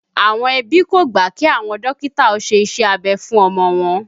Àwọn ẹbí kò gbà kí àwọn dókítà ó ṣe iṣẹ́ abẹ fún ọmọ wọn